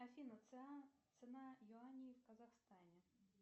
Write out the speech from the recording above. афина цена юаней в казахстане